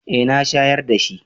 Eh na shayar da shi.